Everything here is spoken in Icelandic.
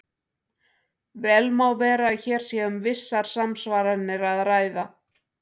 Vel má vera að hér sé um vissar samsvaranir að ræða.